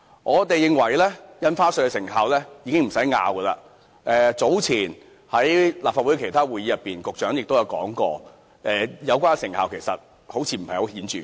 我們都清楚印花稅措施是否有成效，早前，在立法會其他會議上，局長亦提到有關成效似乎不太顯著。